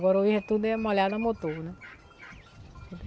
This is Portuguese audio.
Agora hoje tudo é molhado no motor, né?